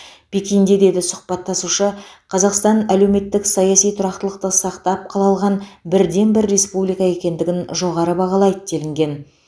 пекинде деді сұхбаттасушы қазақстан әлеуметтік саяси тұрақтылықты сақтап қала алған бірден бір республика екендігін жоғары бағалайды делінген